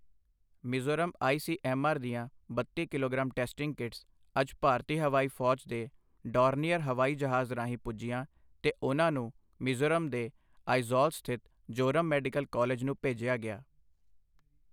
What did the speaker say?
Mizoram I C M R ਦੀਆਂ ਬੱਤੀ kilogram testing kits ਅੱਜ ਭਾਰਤੀ ਹਵਾਈ ਫ਼ੌਜ ਦੇ ਡੌਰਨੀਅਰ ਹਵਾਈ ਜਹਾਜ਼ ਰਾਹੀਂ ਪੁੱਜੀਆਂ ਤੇ ਉਨ੍ਹਾਂ ਨੂੰ ਮਿਜ਼ੋਰਮ ਦੇ ਆਇਜ਼ੌਲ ਸਥਿਤ ਜ਼ੋਰਮ ਮੈਡੀਕਲ ਕਾਲਜ ਨੂੰ ਭੇਜਿਆ ਗਿਆ।